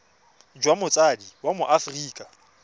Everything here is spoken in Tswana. jwa motsadi wa mo aforika